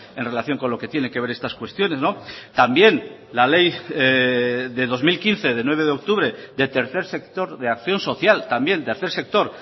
en relación con lo que tiene que ver estas cuestiones también la ley de dos mil quince de nueve de octubre de tercer sector de acción social también tercer sector